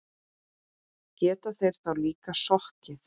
Geta þeir þá líka sokkið.